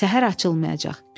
Səhər açılmayacaq.